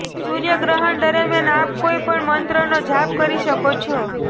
સૂર્ય ગ્રહણ દરમિયાન આપ કોઈ પણ મંત્રનો જાપ કરી શકો છો